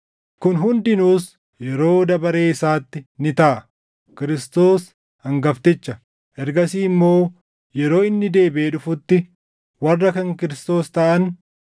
Kun hundinuus yeroo dabaree isaatti ni taʼa; Kiristoos hangafticha, ergasii immoo yeroo inni deebiʼee dhufutti warra kan Kiristoos taʼan.